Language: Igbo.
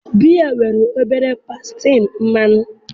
biya nwere obere pasentị mmanya